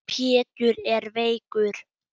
Pétur er veikur.